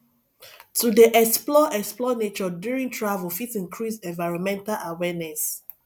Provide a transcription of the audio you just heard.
to dey explore explore nature during travel fit increase environmental awareness